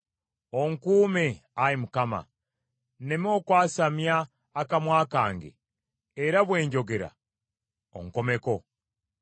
Onkuume, Ayi Mukama , nneme okwasamya akamwa kange, era bwe njogera onkomeko.